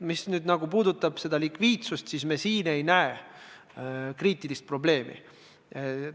Mis puudutab likviidsust, siis me ei näe kriitilist probleemi.